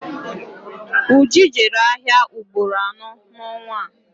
Uju jere ahịa ugboro anọ n'ọnwa a